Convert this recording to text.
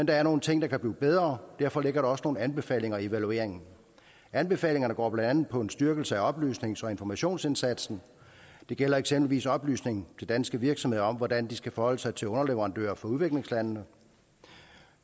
der er nogle ting der kan blive bedre og derfor ligger der også nogle anbefalinger i evalueringen anbefalingerne går blandt andet på en styrkelse af oplysnings og informationsindsatsen det gælder eksempelvis oplysning til danske virksomheder om hvordan de skal forholde sig til underleverandører fra udviklingslandene